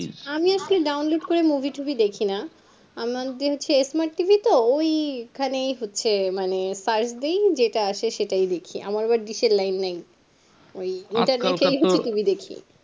আমি আজকাল download করে movie টিভি দেখি না আমাদের smartTV তো ওই ওইখানেই হচ্ছে মানে পাঁচ দিন যেটা আছে সেটাই দেখি আমার আবার dish নাই। ওই